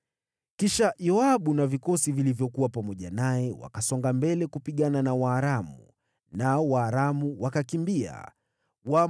Basi Yoabu na vikosi vyake wakasonga mbele kupigana na Waaramu, nao Waaramu wakakimbia mbele yake.